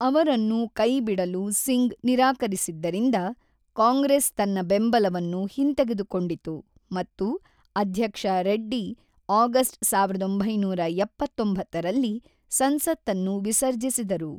ಅವರನ್ನು ಕೈಬಿಡಲು ಸಿಂಗ್ ನಿರಾಕರಿಸಿದ್ದರಿಂದ, ಕಾಂಗ್ರೆಸ್ ತನ್ನ ಬೆಂಬಲವನ್ನು ಹಿಂತೆಗೆದುಕೊಂಡಿತು ಮತ್ತು ಅಧ್ಯಕ್ಷ ರೆಡ್ಡಿ ಆಗಸ್ಟ್ ಸಾವಿರದ ಒಂಬೈನೂರ ಎಪ್ಪತ್ತೊಂಬತ್ತರಲ್ಲಿ ಸಂಸತ್ತನ್ನು ವಿಸರ್ಜಿಸಿದರು.